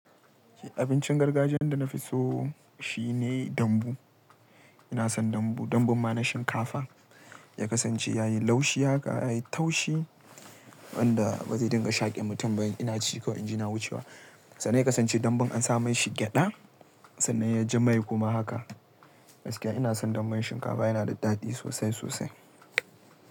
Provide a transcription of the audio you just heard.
Abincin gargajiyan da na fi so shine dambu. Ina son dambu. Dambun ma na shinkafa ya kasance yayi laushi haka, yayi taushi wanda ba zai dinga shake mutum ba. Ina ci kawai inji yana wucewa sannan ya kasance dambun an sa mashi gyada sannan ya ji mai kuma haka. Gaskiya ina son dambun shinkafa, yana da daɗi sosai sosai.